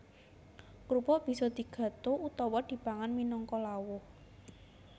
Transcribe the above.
Krupuk bisa digadho utawa dipangan minangka lawuh